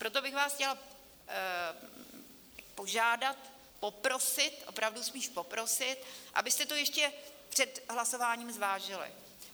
Proto bych vás chtěla požádat, poprosit, opravdu spíš poprosit, abyste to ještě před hlasováním zvážili.